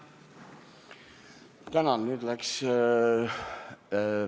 Tänan!